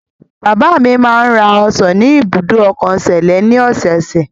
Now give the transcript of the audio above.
Bàbá mi máa ń ra ọsàn ni ibùdó ọkọ Sẹ̀lẹ́ ní ọ̀sẹ̀ẹ̀sẹ̀.